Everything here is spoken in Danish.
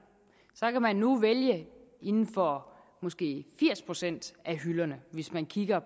kan man nu vælge inden for måske firs procent af hylderne hvis man kigger